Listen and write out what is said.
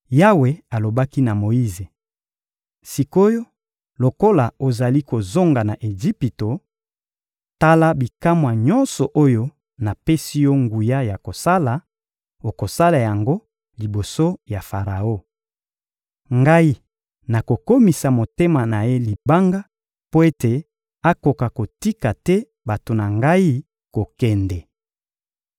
Yawe alobaki na Moyize: — Sik’oyo, lokola ozali kozonga na Ejipito, tala bikamwa nyonso oyo napesi yo nguya ya kosala; okosala yango liboso ya Faraon. Ngai nakokomisa motema na ye libanga mpo ete akoka kotika te bato na Ngai kokende.